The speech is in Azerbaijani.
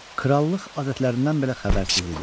Krallıq adətlərindən belə xəbərsiz idi.